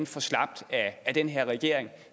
for slapt af den her regering